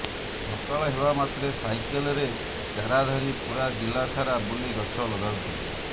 ସକାଳ ହେବା ମାତ୍ରେ ସାଇକେଲରେ ଚାରା ଧରି ପୂରା ଜିଲ୍ଲା ସାରା ବୁଲି ଗଛ ଲଗାଉଥିଲେ